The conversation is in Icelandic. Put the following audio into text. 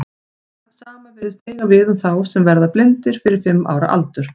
Það sama virðist eiga við um þá sem verða blindir fyrir fimm ára aldur.